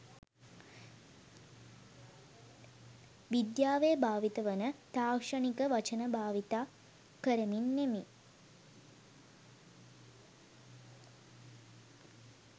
විද්‍යාවේ භාවිත වන තාක්ෂණික වචන භාවිත කරමින් නෙමෙයි.